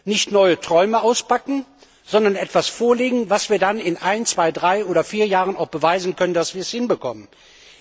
Nicht neue Träume auspacken, sondern etwas vorlegen, bei dem wir dann in ein, zwei, drei oder vier Jahren auch beweisen können, dass wir es hinbekommen haben.